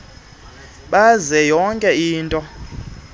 benze yonke into